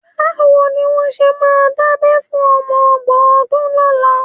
Báwo ni wọ́n ṣe máa dábẹ́ fún ọmọ ọgbọ̀n ọdún lọ́la?